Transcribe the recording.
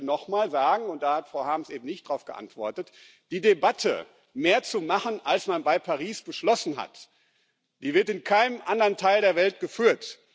Aber ich möchte nochmal sagen und da hat Frau Harms eben nicht darauf geantwortet Die Debatte, mehr zu machen als man in Paris beschlossen hat, die wird in keinem anderen Teil der Welt geführt.